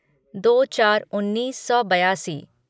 दो चार उन्नीस सौ बयासी